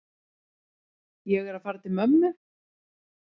Ég er að fara til mömmu.